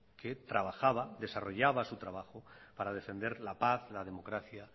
que trabajaba y desarrollaba su trabajo para defender la paz la democracia